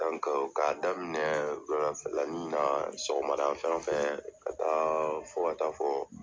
Ka daminɛ wuladafɛlani na sɔgɔmada fan fɛ, ka taa fo ka taa fɔ